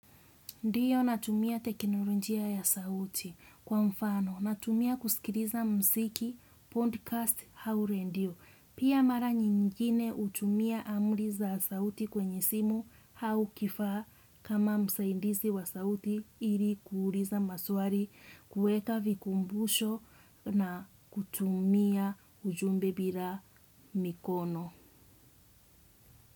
Ndiyo natumia teknolojia ya sauti kwa mfano, natumia kusikiliza muziki, podcast au redio. Pia mara nyingine hutumia amri za sauti kwenye simu au kifaa kama msaidizi wa sauti ili kuuliza maswali kuweka vikumbusho na kutumia ujumbe bila mikono.